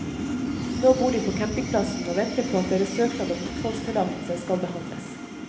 Nå bor de på campingplassen og venter på at deres søknad om oppholdstillatelse skal behandles.